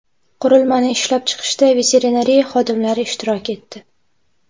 Qurilmani ishlab chiqishda veterinariya xodimlari ishtirok etdi.